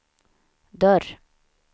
dörr